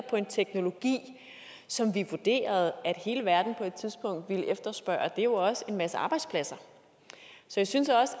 på en teknologi som vi vurderede at hele verden på et tidspunkt ville efterspørge er jo også en masse arbejdspladser så jeg synes også